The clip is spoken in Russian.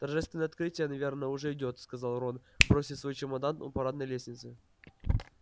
торжественное открытие наверное уже идёт сказал рон бросив свой чемодан у парадной лестницы